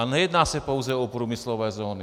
A nejedná se pouze o průmyslové zóny.